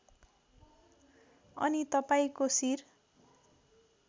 अनि तपाईँको शिर